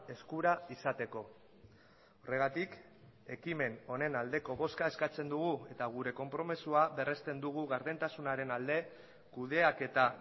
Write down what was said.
eskura izateko horregatik ekimen honen aldeko bozka eskatzen dugu eta gure konpromisoa berresten dugu gardentasunaren alde kudeaketa